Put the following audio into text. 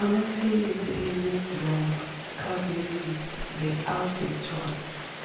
Amaphilisi e neblong, ecarvedi denk le aldactone